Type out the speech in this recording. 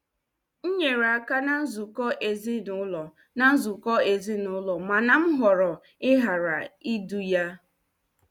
M nyere aka na nzukọ ezinụlọ na nzukọ ezinụlọ mana m họrọ ịghara idu ya.